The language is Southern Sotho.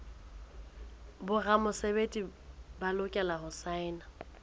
boramesebetsi ba lokela ho saena